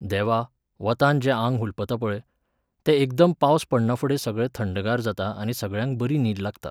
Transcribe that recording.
देवा, वतांत जें आंग हुलपता पळय, तें एकदम पावस पडनाफुडें सगळें थंडगार जाता आनी सगळ्यांक बरी न्हीद लागता.